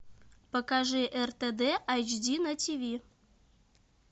покажи ртд айч ди на тв